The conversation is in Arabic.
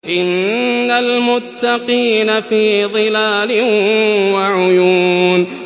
إِنَّ الْمُتَّقِينَ فِي ظِلَالٍ وَعُيُونٍ